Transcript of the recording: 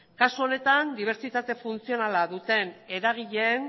kasu honetan dibertsitate funtzionala duten eragileen